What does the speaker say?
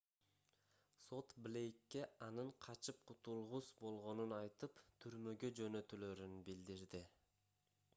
сот блейкке анын качып кутулгус болгонун айтып түрмөгө жөнөтүлөрүн билдирди